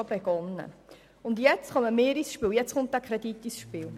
Nun kommen wir als Ratsmitglieder mit diesem Kredit ins Spiel.